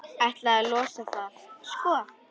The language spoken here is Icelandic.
Ætlaði að losa það, sko.